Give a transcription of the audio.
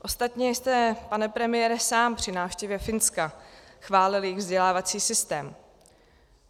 Ostatně jste, pane premiére, sám při návštěvě Finska chválil jejich vzdělávací systém.